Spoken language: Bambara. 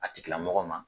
A tigilamɔgɔ ma